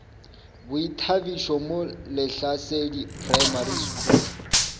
boithabišo mo lehlasedi primary school